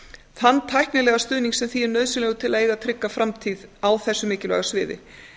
þann tæknilega stuðning sem því er nauðsynlegur til að eiga trygga framtíð á þessu mikilvæga sviði